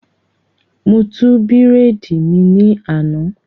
Mo tú bírèèdì mi ní àná